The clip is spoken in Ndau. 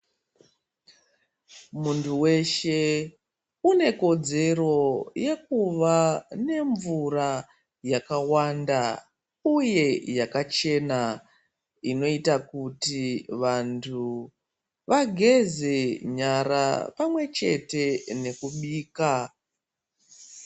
Muntu weshe unokodzero yekuva nemvura yakawanda ,uye yakachena inoite kuti vantu vageze nyara pamwechete nekubika.